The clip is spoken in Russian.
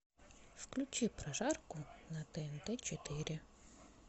включи прожарку на тнт четыре